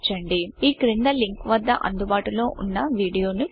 ఈ క్రింది లింక్వద్ద అందుబాటులో ఉన్న వీడియోను చూడండి